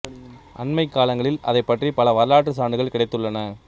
அண்மைய காலங்களில் அதைப் பற்றிய பல வரலாற்றுச் சான்றுகள் கிடைத்து உள்ளன